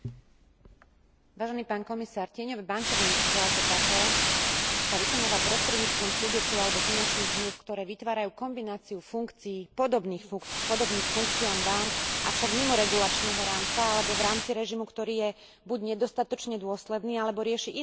Tieňové bankovníctvo ako také sa vykonáva prostredníctvom subjektu alebo finančných zmlúv, ktoré vytvárajú kombináciu funkcií podobných funkciám bánk, avšak mimo regulačného rámca alebo v rámci režimu, ktorý je buď nedostatočne dôsledný, alebo rieši iné otázky než systémové riziká.